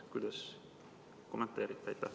Kuidas kommenteerite?